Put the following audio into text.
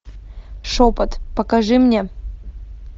шепот покажи мне